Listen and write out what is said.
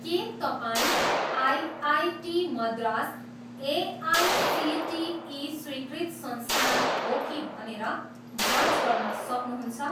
के तपाईँँ IIT Madras AICTE स्वीकृत संस्थान हो कि भनेर जाँच गर्न सक्नुहुन्छ?